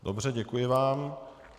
Dobře, děkuji vám.